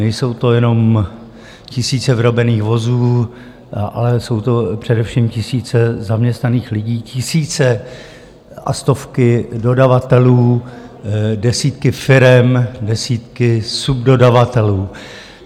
Nejsou to jenom tisíce vyrobených vozů, ale jsou to především tisíce zaměstnaných lidí, tisíce a stovky dodavatelů, desítky firem, desítky subdodavatelů.